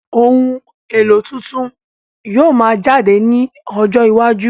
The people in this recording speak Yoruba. Ohun èlò tuntun yóò máa yọ jáde ní ọjọ iwájú